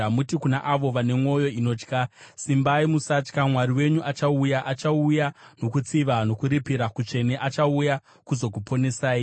muti kuna avo vane mwoyo inotya, “Simbai, musatya; Mwari wenyu achauya, achauya nokutsiva, nokuripira kutsvene achauya kuzokuponesai.”